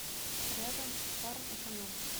рядом фармэконом